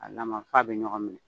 A lama f'a bɛ ɲɔgɔn minɛ.